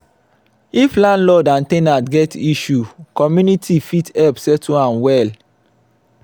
if landlord and ten ant get issue community fit help settle am well.